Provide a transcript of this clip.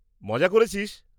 মজা করেছিস?